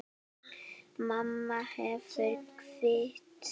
Mamma hefur kvatt.